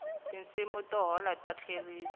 tinsimu to hola ta tlerisa